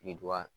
Birintuban